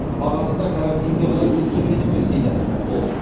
бағасы да карантинге қарай өзгерген емес дейді ол